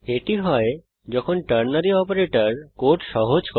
এটি হয় যখন টার্নারী অপারেটর কোড সহজ করে